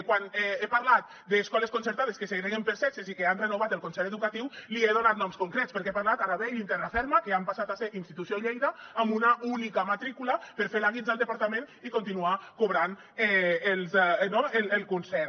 quan he parlat d’escoles concertades que segreguen per sexes i que han renovat el concert educatiu li he donat noms concrets perquè he parlat d’arabell i terraferma que han passat a ser institució lleida amb una única matrícula per fer la guitza al departament i continuar cobrant el concert